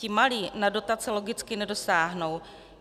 Ti malí na dotace logicky nedosáhnou.